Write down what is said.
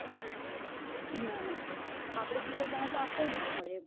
ના નાઆપડે teacher બન્યા એટલે આપડે લાવો પડે એમ